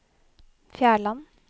Fjærland